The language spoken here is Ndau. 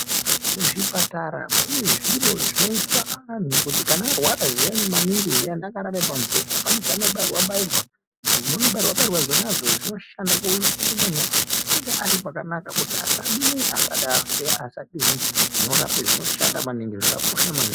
Kuzvipatara kune zviro zvinoiswa vanhu kuti ararwa zviyani maningi zviyani akarara pamubhedha pane zvaano bayirwa bayirwa zvinono bayirwa bayirwa zvona izvo zvinono shanda kuti munhu ange aripakanaka achizive kuti zvinobayirwa zvona izvo zvinoshanda maningi.